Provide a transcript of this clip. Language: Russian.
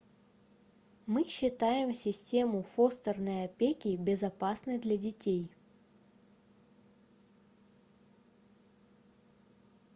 мы считаем систему фостерной опеки безопасной для детей